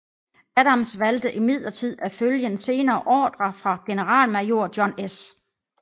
Adams valgte imidlertid at følge en senere ordre fra generalmajor John S